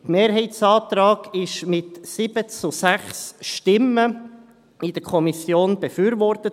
Der Mehrheitsantrag wurde in der Kommission mit 7 zu 6 Stimmen befürwortet.